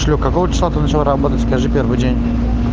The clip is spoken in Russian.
че какого числа ты начал работать скажи первый день